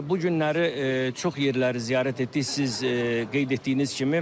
Və bu günləri çox yerləri ziyarət etdik, siz qeyd etdiyiniz kimi.